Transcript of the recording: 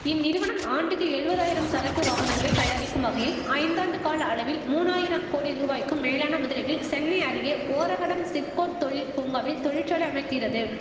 இந்நிறுவனம் ஆண்டுக்கு எழுவதாயிரம் சரக்கு வாகனங்களை தயாரிக்கும் வகையில் ஐந்தாண்டு கால அளவில் மூனாயிரம் கோடி ரூவாக்கும் மேலான முதலீட்டில் சென்னை அருகே ஓரகடம் சிப்கொட் தொழில் பூங்காவில் தொழிற்சாலை அமைக்கிறது